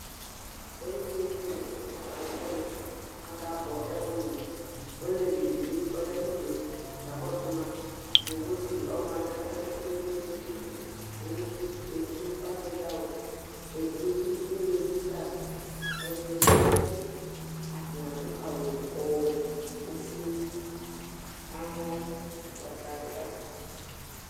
ɛmɛ lɛ ɛƒʊɛɖɩ ɓʊa ƙaƙa la ɓʊaƙʊ alʊ ɛƒoa , ɔsɩ ɛƒoa ƙʊ ʊlʊʋɩ ɔɖʊ tami ɩlilɩ ƙala ƙatanɩ éƙé ahlalɩ ƙaƙa ƙpɔ ɔtsɛ ƙama , ƙalʊʋɩ waŋɩ aƙaƙpɔ ɔtsɛ Ɛɖɩŋɩ aɖʊ awʊ Ƙɛɖɩŋɩ ŋaɖʊ awʊ Alʊ ƙpɔ ɔtsɛ wanɩ ɛɖɩŋɩ aɖʊ awʊ oƒoé